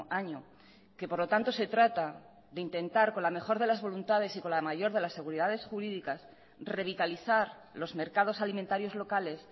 año que por lo tanto se trata de intentar con la mejor de las voluntades y con la mayor de las seguridades jurídicas revitalizar los mercados alimentarios locales